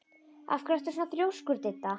Af hverju ertu svona þrjóskur, Didda?